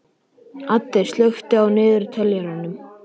Addi, slökktu á niðurteljaranum.